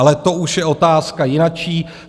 Ale to už je otázka jinačí.